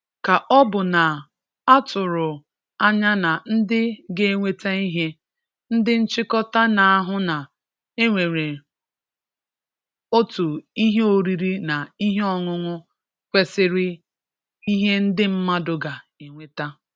Kà ọ̀ bụ̀ na à tụrụ̀ anyà na ndị̀ ga-ewetà ihè, ndị̀ nchị̀kòtà na-ahụ̀ na ènwèrè̀ ọ̀tù̀ ihè orìrí na ihè ọ̀ñụ̀ñụ̀ kwesìrì ihè ndị̀ mmadụ̀ ga-ewetà.